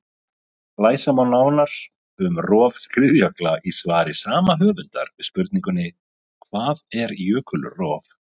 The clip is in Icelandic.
Lesa má nánar um rof skriðjökla í svari sama höfundar við spurningunni Hvað er jökulrof?